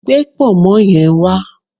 Gbé pọ̀nmọ́ yen wá